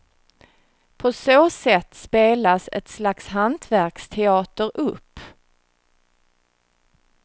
På så sätt spelas ett slags hantverksteater upp.